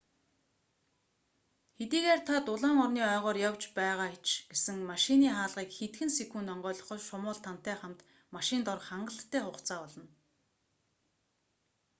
хэдийгээр та дулаан орны ойгоор явж байгаа ч гэсэн машины хаалгыг хэдхэн секунд онгойлгоход шумуул тантай хамт машинд орох хангалттай хугацаа болно